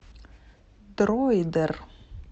дроидер